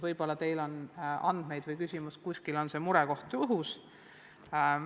Võib-olla teil on selle kohta andmeid, vahest see mure on õhus.